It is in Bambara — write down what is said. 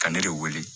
Ka ne de wele